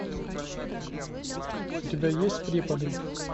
у тебя есть преподы